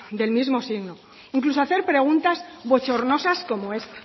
del mismo signo e incluso hacer preguntas bochornosas como esta